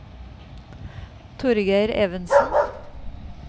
Torgeir Evensen